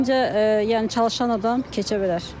Məncə, yəni çalışan adam keçə bilər.